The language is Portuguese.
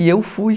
E eu fui.